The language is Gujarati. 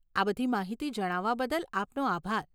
આ બધી માહિતી જણાવવા બદલ આપનો આભાર.